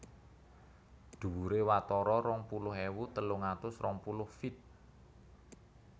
Dhuwuré watara rong puluh ewu telung atus rong puluh feet